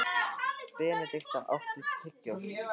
Benedikta, áttu tyggjó?